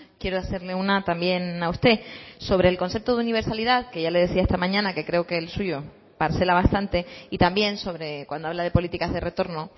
quiero hacerle una también a usted sobre el concepto de universalidad que ya le decía esta mañana que creo que el suyo parcela bastante y también sobre cuando habla de políticas de retorno